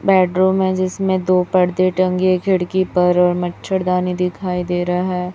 Bedroom हैं जिसमें दो पर्दे टंगे खिड़की पर और मच्छरदानी दिखाई दे रहा है।